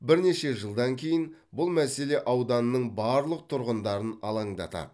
бірнеше жылдан кейін бұл мәселе ауданның барлық тұрғындарын алаңдатады